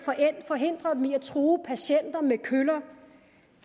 forhindret dem i at true patienter med køller